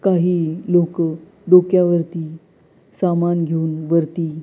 काही लोकं डोक्यावरती सामान घेऊन वरती--